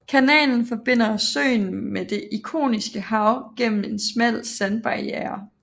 Kanalen forbinder søen med Det Ioniske Hav gennem en smal sandbarierre